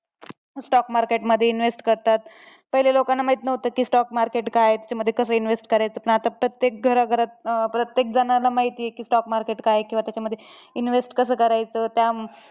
Stock market मध्ये invest करतात, पहिले लोकांना माहित नव्हतं की stock market काय आहे, त्याच्यामध्ये कसं invest करायचं? पण आता प्रत्येक घराघरात, प्रत्येक जणाला माहिती आहे की stock market काय आहे ते किंवा त्याच्यामध्ये invest कसं करायचं, त्या